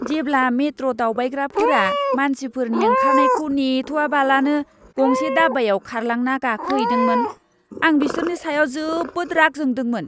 जेब्ला मेट्र' दावबायग्राफोरा मानसिफोरनि ओंखारनायखौ नेथ'आबालानो गंसे दाब्बायाव खारलांना गाखोहैदोंमोन, आं बिसोरनि सायाव जोबोद राग जादोंमोन!